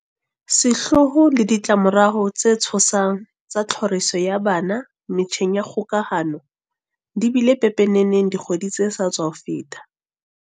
Sehloho le ditla-morao tse tshosang tsa tlhoriso ya bana metjheng ya kgokahano di bile pepeneneng dikgweding tse sa tswa feta.